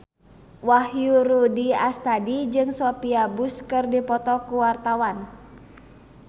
Wahyu Rudi Astadi jeung Sophia Bush keur dipoto ku wartawan